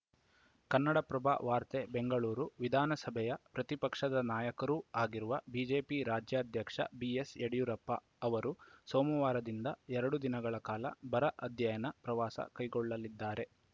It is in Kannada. ಕನ್ನಡಪ್ರಭ ವಾರ್ತೆ ಬೆಂಗಳೂರು ವಿಧಾನಸಭೆಯ ಪ್ರತಿಪಕ್ಷದ ನಾಯಕರೂ ಆಗಿರುವ ಬಿಜೆಪಿ ರಾಜ್ಯಾಧ್ಯಕ್ಷ ಬಿಎಸ್‌ಯಡಿಯೂರಪ್ಪ ಅವರು ಸೋಮವಾರದಿಂದ ಎರಡು ದಿನಗಳ ಕಾಲ ಬರ ಅಧ್ಯಯನ ಪ್ರವಾಸ ಕೈಗೊಳ್ಳಲಿದ್ದಾರೆ